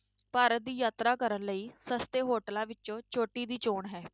ਭਾਰਤ ਦੀ ਯਾਤਰਾ ਕਰਨ ਲਈ ਸਸਤੇ hotels ਵਿੱਚੋਂ ਚੋਟੀ ਦੀ ਚੌਣ ਹੈ।